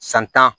San tan